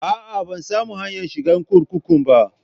A'a, ban samu hanyar shiga kurkukun ba.